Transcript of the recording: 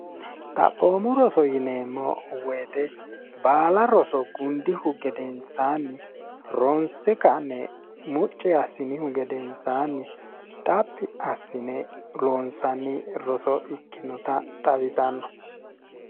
xaphoomo roso yineemmo woyite baala roso gundihu gedensaanni ronse kanne mucce assinihu gedensaanni xaphi assine loonsanni roso ikkinota xawisanno